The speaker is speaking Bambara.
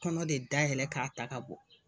Kɔnɔ de dayɛlɛ k'a ta ka bɔ